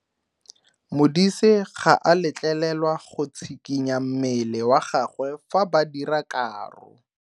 Modise ga a letlelelwa go tshikinya mmele wa gagwe fa ba dira karo.